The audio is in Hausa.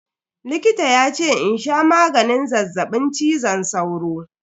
Likita yace in sha maganin zazzaɓin cizon sauro.